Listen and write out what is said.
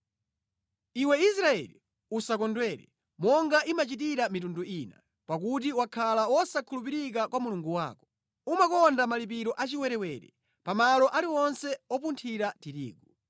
Iwe Israeli, usakondwere; monga imachitira mitundu ina. Pakuti wakhala wosakhulupirika kwa Mulungu wako; umakonda malipiro a chiwerewere pa malo aliwonse opunthira tirigu.